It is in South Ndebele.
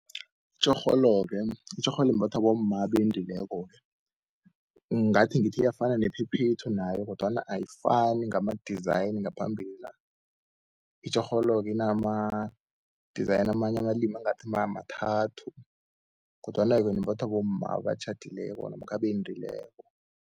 Itjorholo-ke, itjorholo imbathwa bomma abendileko-ke, ngathi ngithi iyafana nephephethu nayo kodwana ayifani ngama-design ngaphambili la. Itjhorholo-ke inama-design amanye amalimi angathi mathathu, kodwana yona-ke imbathwa bomma abatjhadileko namkha abendileko.